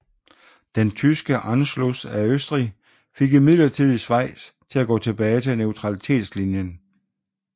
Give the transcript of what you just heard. Den tyske Anschluss af Østrig fik imidlertid Schweiz til at gå tilbage til neutralitetslinjen